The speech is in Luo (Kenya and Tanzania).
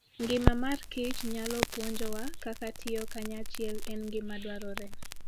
Ngima mar kich nyalo puonjowa kaka tiyo kanyachiel en gima dwarore.